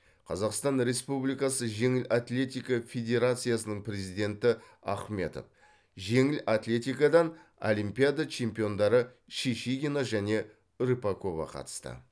қазақстан республикасы жеңіл атлетика федерациясының президенті ахметов жеңіл атлетикадан олимпиада чемпиондары шишигина және рыпакова қатысты